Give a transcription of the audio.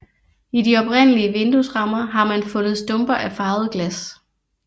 I de oprindelige vinduesrammer har man fundet stumper af farvet glas